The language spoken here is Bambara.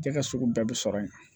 Cɛ ka sugu bɛɛ bɛ sɔrɔ yen